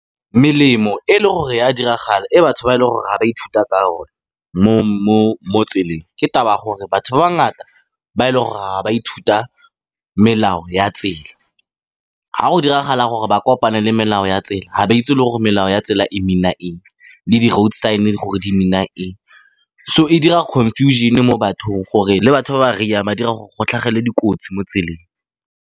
Melemo e leng gore ya diragala e batho ba e leng gore ga ba ithuta ka o ne mo tseleng, ke taba gore batho ba ba bangata ba e leng gore ga ba ithuta melao ya tsela ga go diragala gore ba kopane le melao ya tsela ha ba itse le gore melao ya tsela e mean-a eng, le di road sign gore di mean-a eng, so e dira confusion mo bathong. Gore le batho ba ba ry-ang ba dira gore go tlhagele dikotsi mo tseleng.